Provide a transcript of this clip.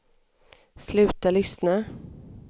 sluta lyssna